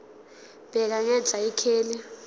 bheka ngenhla ikheli